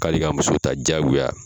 K'ale ka muso ta jigoya.